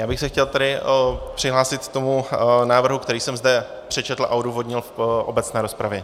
Já bych se chtěl tedy přihlásit k tomu návrhu, který jsem zde přečetl a odůvodnil v obecné rozpravě.